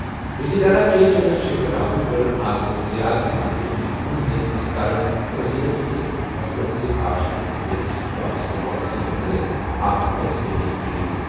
وزیر اعلیٰ کے چندر شیکھر راون کٔر آز زراعت تہٕ مارکیٹنگ محکمن ہٕنٛدٮ۪ن اہلکارن تہٕ وزیرن سٕتۍ فصلن ہٕنٛز کاشت تہٕ خٔریٖدٲری سٕتۍ وابستہٕ پالیسیَن مُتعلِق اکھ تجزیٲتی میٹنگ۔